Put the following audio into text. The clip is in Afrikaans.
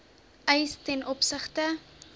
eis ten opsigte